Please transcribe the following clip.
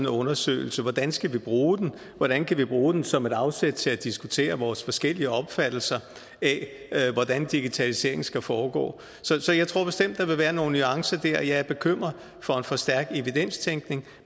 undersøgelse hvordan vi skal bruge den hvordan vi kan bruge den som et afsæt til at diskutere vores forskellige opfattelse af hvordan digitaliseringen skal foregå så jeg tror bestemt at der vil være nogle nuancer der jeg er bekymret for en for stærk evidenstænkning